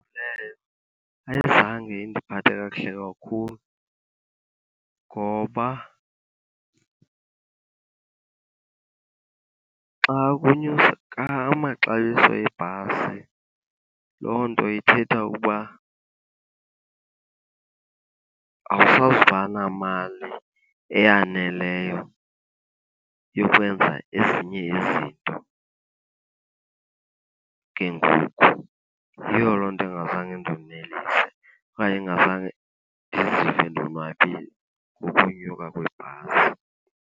Leyo ayizange indiphathe kakuhle kakhulu ngoba xa amaxabiso ebhasi loo nto ithetha ukuba awusazuba namali eyaneleyo yokwenza ezinye izinto. Ke ngoku yiyo loo nto engazange indonelise okanye engazange ndizive ndonwabile ngokunyuka kweebhasi.